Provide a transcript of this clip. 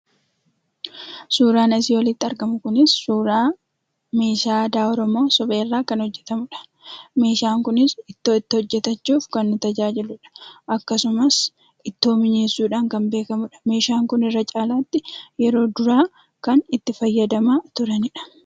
Suuraan asii olitti argamu kunii suuraa meeshaa aadaa Oromoo suphee irraa kan hojjetamuudha. Meeshaan kunis ittoo itti hojjetachuuf kan nu tajaajiluudha. Akkasumas ittoo mi'eessuudhaan kan beekamuudha. Meeshaan kun irra caalaa yeroo duraa kan itti fayyadamaa turaniidha.